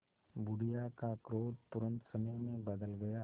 बुढ़िया का क्रोध तुरंत स्नेह में बदल गया